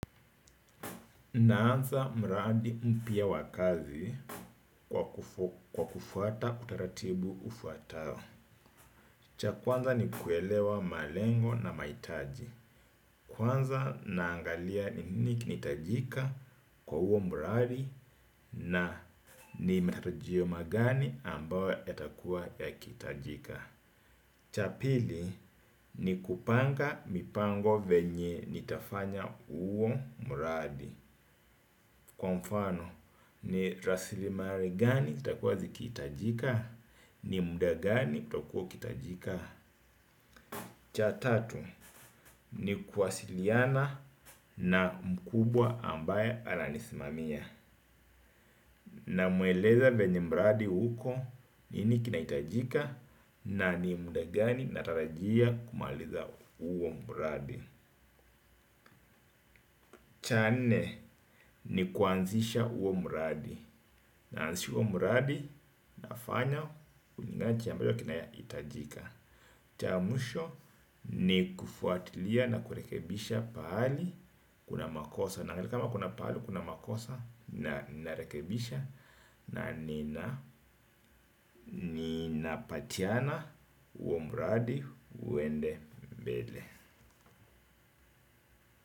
Naanza mraadi mpia wakazi kwa kufuata utaratibu ufuatao. Cha kwanza ni kuelewa malengo na maitaji. Kwanza naangalia ni nini kinahitajika kwa uo mraadi na ni matarajio magani ambawe yatakua yakitajika. Cha pili ni kupanga mipango venye nitafanya uo mraadi. Kwa mfano ni rasilimare gani zitakuwa ziki itajika. Ni muda gani utakuwa ukitajika. Cha tatu ni kuasiliana na mkubwa ambaye ananisimamia. Namueleza venye mradi huko ni ni kinaitajika. Na ni muda gani natarajia kumaliza uo mradi. Cha nne ni kuanzisha uo mradi. Naansi uo muradi nafanya ulingaji ambayo kinayaitajika. Cha muisho ni kufuatilia na kurekebisha pahali kuna makosa. Naangalia kama kuna pahali kuna makosa na narekebisha. Na nina, ninapatiana uo muradi uende mbele.